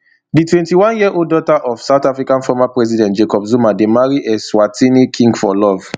di twenty-oneyearold daughter of south africa former president jacob zuma dey marry eswatini king for love